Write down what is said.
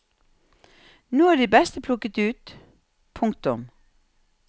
Nå er de beste plukket ut. punktum